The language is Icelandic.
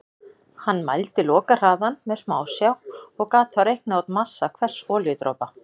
Hann mældi lokahraðann með smásjá og gat þá reiknað út massa hvers olíudropa.